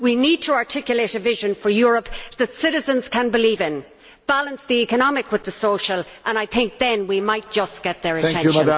We need to articulate a vision for Europe that citizens can believe in balance the economic with the social, and I think then we might just get their attention.